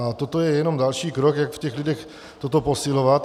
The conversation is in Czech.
A toto je jenom další krok, jak v těch lidech toto posilovat.